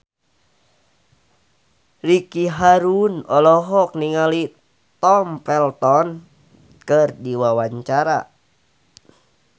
Ricky Harun olohok ningali Tom Felton keur diwawancara